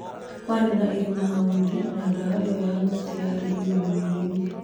Kwarĩ na irima hau thĩ na ndawa iyo ya mĩtĩ yarĩ ĩriamainĩ rĩu